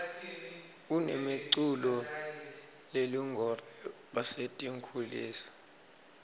kunemi culo lelungore basetinkhulisa